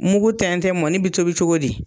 Mugu tɛntɛn, mɔni bi tobi cogo di?